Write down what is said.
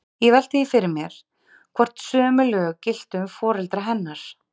Ég velti því fyrir mér, hvort sömu lög giltu um foreldra hennar.